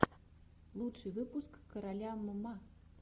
лучший выпуск короля мма